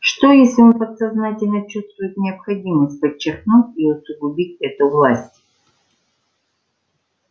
что если он подсознательно чувствует необходимость подчеркнуть и усугубить эту власть